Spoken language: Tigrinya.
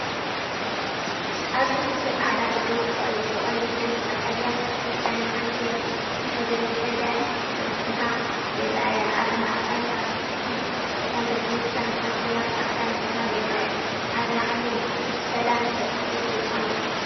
ኣብዚ ክልተ ጻዕዳ ርግቢት ብቐይሕን ቀጠልያን ዝተሸፈነ ዓንኬል ንሓድሕደን ክጥምታ ይረኣያ። ኣብ ማእከል ኣብ ትሕቲ እተን ርግቢት ከም ጽርግያ ጻዕዳ መስመር ይርአ። ኣብ ላዕሊ “ሰላም” ተጻሒፉ ኣሎ።